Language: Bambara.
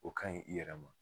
O ka ɲi i yɛrɛ ma.